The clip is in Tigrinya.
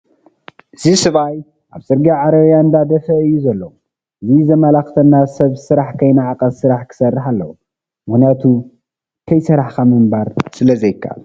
አዚ ሰበኣይ ኣብ ፅርግያ ዓረብያ እንዳደፈኣ እዩ ዘሎ ።እዚ ዘመለከተና ሰብ ስራሕ ከይነዓቀ ስራሕ ክሰርሕ ኣለዎ ።ምክንያቱ ከሰራሕካ ምንባር ስለዘይካኣል።